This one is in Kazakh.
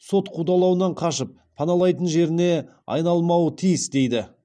сот қудалауынан қашып паналайтын жеріне айналмауы тиіс дейді